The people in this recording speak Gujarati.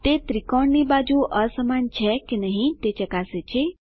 તે ત્રિકોણ ની બાજુ અસમાન છે કે નહી તે ચકાસે છે